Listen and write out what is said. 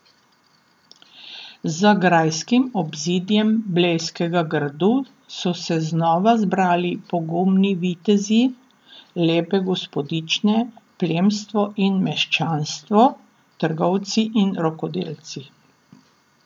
Za grajskim obzidjem Blejskega gradu so se znova zbrali pogumni vitezi, lepe gospodične, plemstvo in meščanstvo, trgovci in rokodelci.